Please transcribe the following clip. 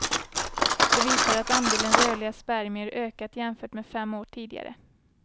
Det visade att andelen rörliga spermier ökat jämfört med fem år tidigare.